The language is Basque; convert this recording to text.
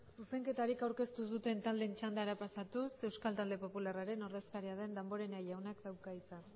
zuzenketarik aurkeztu ez duten taldeen txandara pasatuz euskal talde popularraren ordezkaria den damborenea jaunak dauka hitza